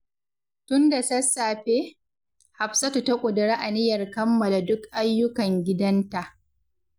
Tun da sassafe, Hafsatu ta ƙudiri aniyar kammala duk ayyukan gidanta.